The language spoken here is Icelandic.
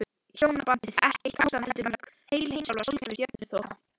Hjónabandið ekki eitt ástand heldur mörg, heil heimsálfa, sólkerfi, stjörnuþoka.